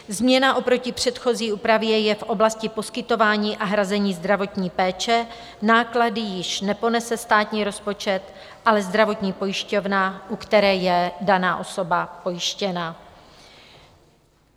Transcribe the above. Změna oproti předchozí úpravě je v oblasti poskytování a hrazení zdravotní péče - náklady již neponese státní rozpočet, ale zdravotní pojišťovna, u které je daná osoba pojištěna.